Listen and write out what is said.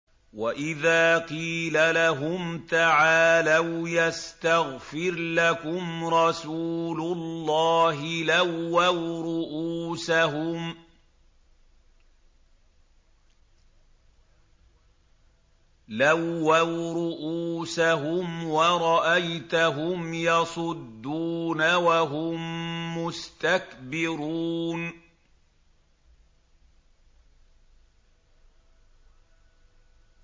وَإِذَا قِيلَ لَهُمْ تَعَالَوْا يَسْتَغْفِرْ لَكُمْ رَسُولُ اللَّهِ لَوَّوْا رُءُوسَهُمْ وَرَأَيْتَهُمْ يَصُدُّونَ وَهُم مُّسْتَكْبِرُونَ